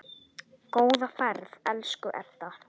Góða ferð, elsku Edda.